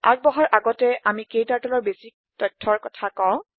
আগবাঢ়াৰ আগতে আমি KTurtleৰ প্ৰাথমিক তথ্যৰ কথা কওঁ